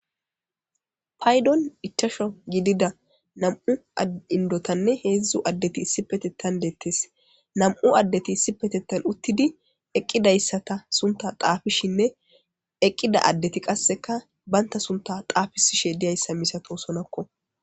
paydon ichasho gidida nam7u indotanne heedzdzu addeti issi petetan deettes nam7u addeti issi petettan uttidi eqqidayssata sunta qaafishinne eqqida addeti qasseka banta sunta qaafisishe diyayssa misato sonakko